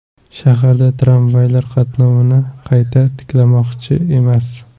Shaharda tramvaylar qatnovini qayta tiklashmoqchi emas .